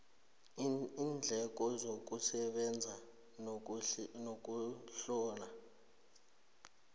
iindleko zokusebenza nokuzihlola